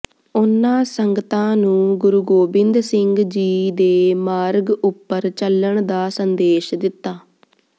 ਉਨ੍ਹਾਂ ਸੰਗਤਾਂ ਨੂੰ ਗੁਰੂ ਗੋਬਿੰਦ ਸਿੰਘ ਜੀ ਦੇ ਮਾਰਗ ਉਪਰ ਚੱਲਣ ਦਾ ਸੰਦੇਸ਼ ਦਿੱਤਾ